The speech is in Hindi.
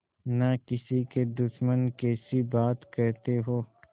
न किसी के दुश्मन कैसी बात कहते हो